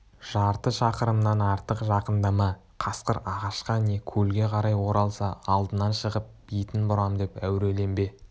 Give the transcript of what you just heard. жарты шақырымнан артық жақындама қасқыр ағашқа не көлге қарай оралса алдынан шығып бетін бұрам деп әуреленбе